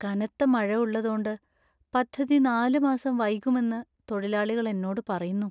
കനത്ത മഴ ഉള്ളതോണ്ട് പദ്ധതി നാല് മാസം വൈകുമെന്ന് തൊഴിലാളികൾ എന്നോട് പറയുന്നു.